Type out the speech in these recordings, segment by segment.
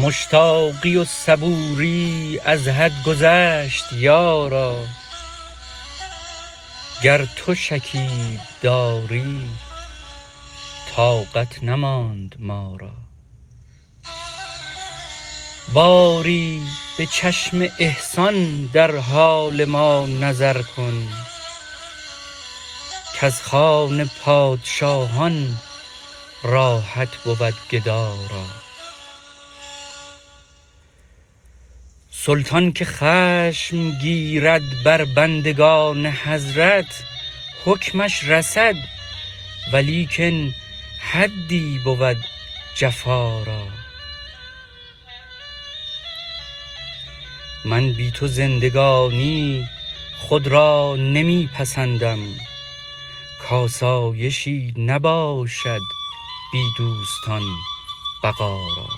مشتاقی و صبوری از حد گذشت یارا گر تو شکیب داری طاقت نماند ما را باری به چشم احسان در حال ما نظر کن کز خوان پادشاهان راحت بود گدا را سلطان که خشم گیرد بر بندگان حضرت حکمش رسد ولیکن حدی بود جفا را من بی تو زندگانی خود را نمی پسندم کآسایشی نباشد بی دوستان بقا را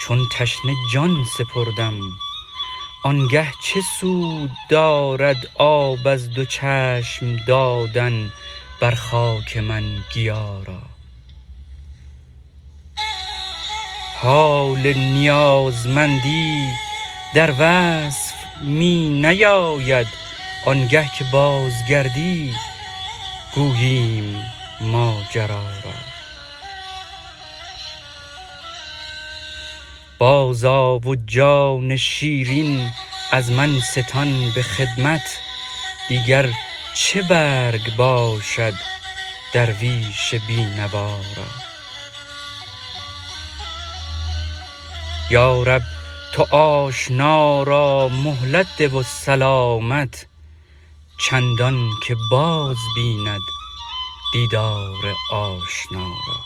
چون تشنه جان سپردم آن گه چه سود دارد آب از دو چشم دادن بر خاک من گیا را حال نیازمندی در وصف می نیاید آن گه که بازگردی گوییم ماجرا را بازآ و جان شیرین از من ستان به خدمت دیگر چه برگ باشد درویش بی نوا را یا رب تو آشنا را مهلت ده و سلامت چندان که باز بیند دیدار آشنا را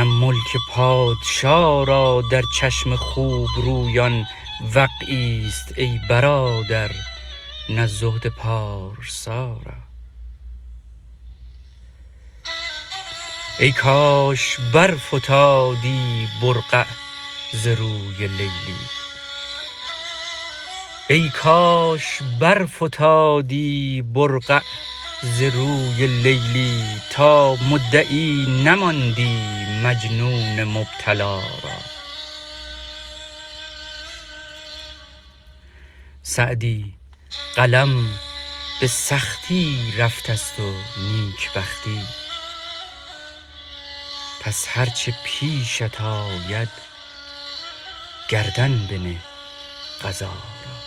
نه ملک پادشا را در چشم خوب رویان وقعی ست ای برادر نه زهد پارسا را ای کاش برفتادی برقع ز روی لیلی تا مدعی نماندی مجنون مبتلا را سعدی قلم به سختی رفته ست و نیک بختی پس هر چه پیشت آید گردن بنه قضا را